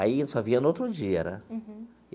Aí eu só via no outro dia, né? Uhum.